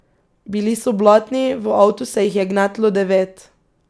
Bili so blatni, v avtu se jih je gnetlo devet.